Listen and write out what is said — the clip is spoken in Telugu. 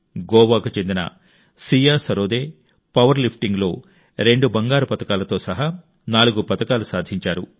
గోవాకు చెందిన సియా సరోదే పవర్లిఫ్టింగ్లో 2 బంగారు పతకాలతో సహా నాలుగు పతకాలు సాధించారు